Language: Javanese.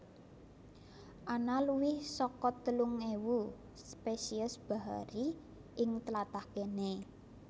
Ana luwih saka telung ewu spesies bahari ing tlatah kéné